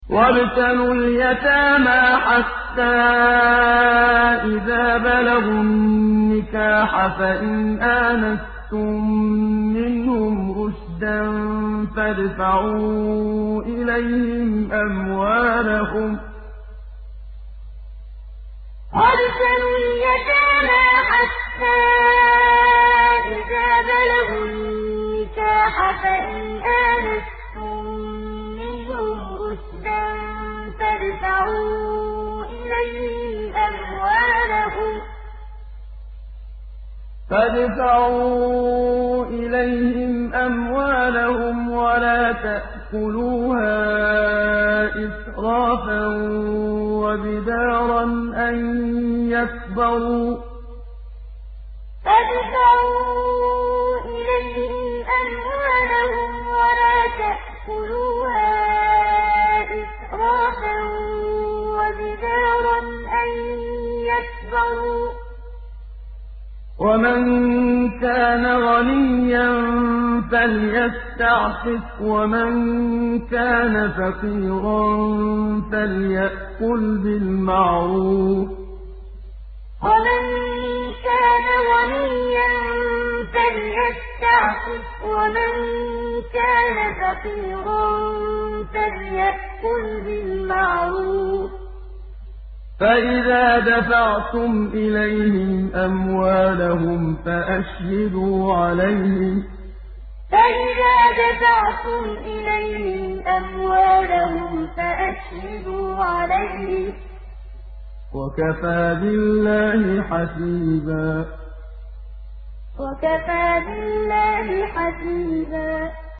وَابْتَلُوا الْيَتَامَىٰ حَتَّىٰ إِذَا بَلَغُوا النِّكَاحَ فَإِنْ آنَسْتُم مِّنْهُمْ رُشْدًا فَادْفَعُوا إِلَيْهِمْ أَمْوَالَهُمْ ۖ وَلَا تَأْكُلُوهَا إِسْرَافًا وَبِدَارًا أَن يَكْبَرُوا ۚ وَمَن كَانَ غَنِيًّا فَلْيَسْتَعْفِفْ ۖ وَمَن كَانَ فَقِيرًا فَلْيَأْكُلْ بِالْمَعْرُوفِ ۚ فَإِذَا دَفَعْتُمْ إِلَيْهِمْ أَمْوَالَهُمْ فَأَشْهِدُوا عَلَيْهِمْ ۚ وَكَفَىٰ بِاللَّهِ حَسِيبًا وَابْتَلُوا الْيَتَامَىٰ حَتَّىٰ إِذَا بَلَغُوا النِّكَاحَ فَإِنْ آنَسْتُم مِّنْهُمْ رُشْدًا فَادْفَعُوا إِلَيْهِمْ أَمْوَالَهُمْ ۖ وَلَا تَأْكُلُوهَا إِسْرَافًا وَبِدَارًا أَن يَكْبَرُوا ۚ وَمَن كَانَ غَنِيًّا فَلْيَسْتَعْفِفْ ۖ وَمَن كَانَ فَقِيرًا فَلْيَأْكُلْ بِالْمَعْرُوفِ ۚ فَإِذَا دَفَعْتُمْ إِلَيْهِمْ أَمْوَالَهُمْ فَأَشْهِدُوا عَلَيْهِمْ ۚ وَكَفَىٰ بِاللَّهِ حَسِيبًا